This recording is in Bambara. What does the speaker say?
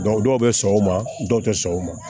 dɔw bɛ sɔn o ma dɔw tɛ sɔn o ma